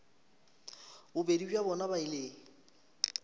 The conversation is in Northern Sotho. bobedi bja bona ba ile